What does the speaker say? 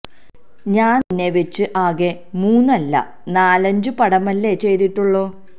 ഞാന് നിന്നെ വെച്ച് ആകെ മൂന്ന് അല്ല നാലഞ്ചു പടമല്ലേ ചെയ്തിട്ടുള്ളൂ